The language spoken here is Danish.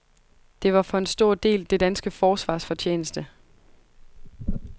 Det var for en stor del det danske forsvars fortjeneste.